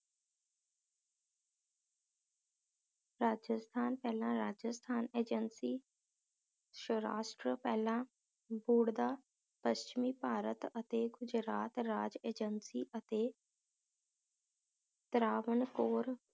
ਰਾਜਸਥਾਨ ਪਹਿਲਾਂ ਰਾਜਸਥਾਨ ਏਜੰਸੀ, ਸ਼ਰਾਸ਼੍ਟ੍ਰ ਪਹਿਲਾਂ ਬੂੜਦਾ ਪਸ਼ਚਮੀ ਭਾਰਤ ਅਤੇ ਗੁਜਰਾਤ ਰਾਜ ਏਜੰਸੀ ਅਤੇ ਤਰਾਵਨ ਕੋਰ